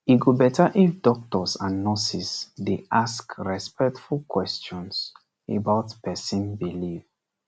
e go better if doctors and nurses dey ask respectful questions about person belief